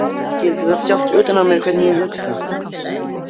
Skyldi það sjást utan á mér hvernig ég hugsa?